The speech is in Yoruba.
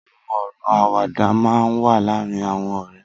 Awọn ọrọ àwàdà mà n wà làárin awọn ọrẹ